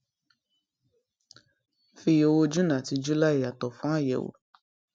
fi owó june àti july yàtọ fún àyẹwò